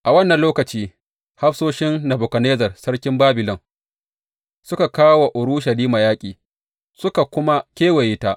A wannan lokaci, hafsoshin Nebukadnezzar sarkin Babilon suka kawo wa Urushalima yaƙi, suka kuma kewaye ta.